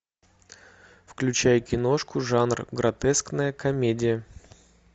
включай киношку жанр гротескная комедия